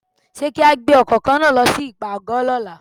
Ṣé kí á gbé ọkọ̀ kan náà lọ sí ìpàgọ́ lọ́la?